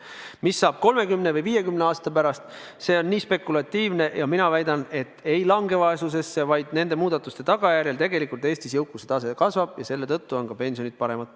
Mis saab 30 või 50 aasta pärast, see on nii spekulatiivne, aga mina väidan, et inimesed ei lange vaesusesse, vaid nende muudatuste tagajärjel tegelikult Eestis jõukuse tase kasvab ja selle tõttu on ka pensionid suuremad.